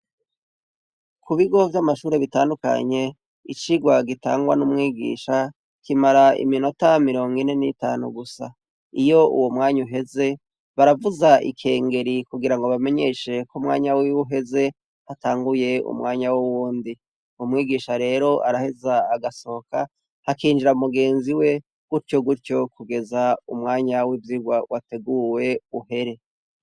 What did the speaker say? Ku bigo vyamashuri bitandukanye icigwa gitangwa n'umwigisha kimara iminota mirongo ine n'itanu gusa, iyo uwo mwanya uheze baravuza ikengeri kugira ngo bamenyeshe ko umwanya wiwe uheze hatanguye umwanya wuwundi, umwigisha rero araheza agasohoka hakinjira mugenzi we gutyo gutyo kugeza umwanya wivyirwa wateguwe uhere.